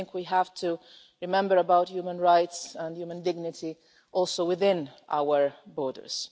We have to remember about human rights and human dignity, also within our borders.